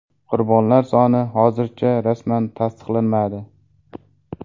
Qurbonlar soni hozircha rasman tasdiqlanmadi.